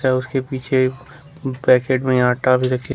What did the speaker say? और उसके पीछे पैकेट में आटा भी रखे--